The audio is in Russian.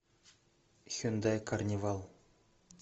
хендай карнивал